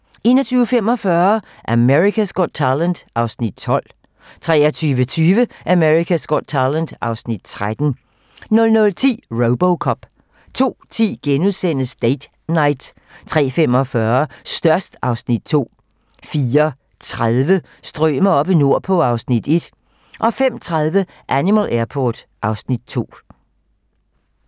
21:45: America's Got Talent (Afs. 12) 23:20: America's Got Talent (Afs. 13) 00:10: Robocop 02:10: Date Night * 03:45: Størst (Afs. 2) 04:30: Strømer oppe nordpå (Afs. 1) 05:30: Animal Airport (Afs. 2)